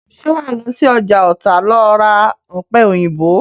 Ṣé wàá lọ sí ọjà Ọ̀tà lọ ra ọ̀pẹ̀-òyìnbó?